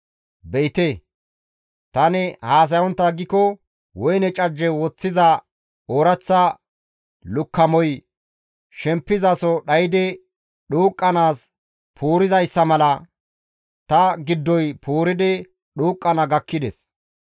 Be7ite! Tani haasayontta aggiko, woyne cajje woththiza ooraththa lukkamoy shempizaso dhaydi dhuuqqanaas puurizayssa mala ta giddoy puuridi dhuuqqana gakkides.